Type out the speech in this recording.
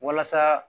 Walasa